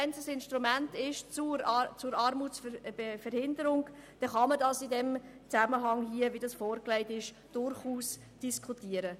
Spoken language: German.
Wenn der Mindestlohn ein Instrument zur Armutsverhinderung ist, dann kann man ihn in diesem Zusammenhang, wie er hier vorgelegt wird, durchaus diskutieren.